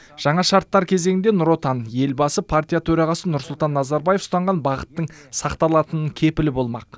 жаңа шарттар кезеңінде нұр отан елбасы партия төрағасы нұрсұлтан назарбаев ұстанған бағыттың сақталатынының кепілі болмақ